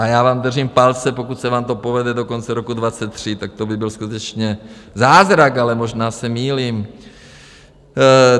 A já vám držím palce, pokud se vám to povede do konce roku 2023, tak to by byl skutečně zázrak, ale možná se mýlím.